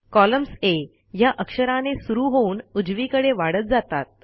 columns आ ह्या अक्षराने सुरू होऊन उजवीकडे वाढत जातात